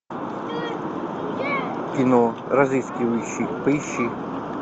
кино разыскивающий поищи